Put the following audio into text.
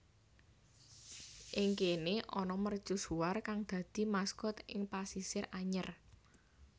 Ing kene ana mercusuar kang dadi maskot ing Pasisir Anyer